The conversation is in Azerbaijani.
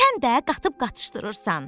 Sən də qatıb-qatıxdırırsan.